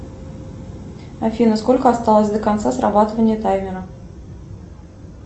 афина сколько осталось до конца срабатывания таймера